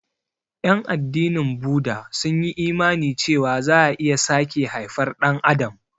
Ƴan addinin Buda sun yi imani cewa za'a iya sake haifar Ɗan adam.